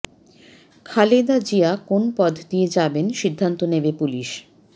খালেদা জিয়া কোন পথ দিয়ে যাবেন সিদ্ধান্ত নেবে পুলিশ